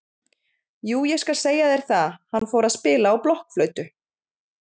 Jú ég skal segja þér það, hann fór að spila á blokkflautu.